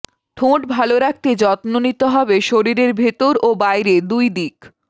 ঠোঁট ভালো রাখতে যত্ন নিতে হবে শরীরের ভেতর ও বাইরে দুই দিক